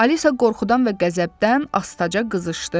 Alisa qorxudan və qəzəbdən astaca qızışdı.